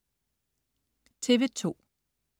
TV2: